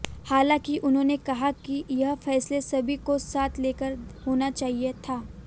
हालांकि उन्होंने कहा कि यह फैसला सभी को साथ लेकर होना चाहिए था